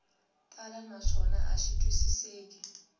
tala naswona a xi twisiseki